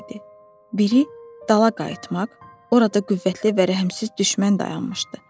Biri dala qayıtmaq, orada qüvvətli və rəhmsiz düşmən dayanmışdı.